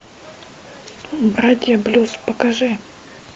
братья блюз покажи